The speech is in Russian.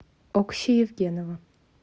окси евгенова